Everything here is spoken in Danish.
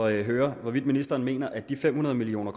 høre hvorvidt ministeren mener at de fem hundrede million